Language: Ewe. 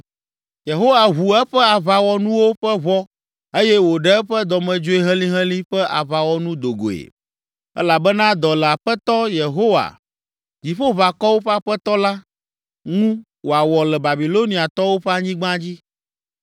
Yehowa ʋu eƒe aʋawɔnuwo ƒe ʋɔ eye wòɖe eƒe dɔmedzoe helĩhelĩ ƒe aʋawɔnu do goe, elabena dɔ le Aƒetɔ Yehowa, Dziƒoʋakɔwo ƒe Aƒetɔ la, ŋu wòawɔ le Babiloniatɔwo ƒe anyigba dzi.